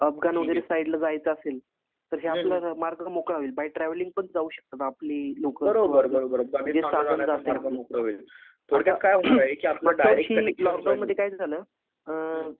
अफगाण वगैरे साईडला जायचं असेल तर हे आपला मार्ग मोकळा होईल बाय ट्रॅव्हलिंग पण जाऊ शकतात आपली लोकं लॉकडाऊनमध्ये काय झालं अ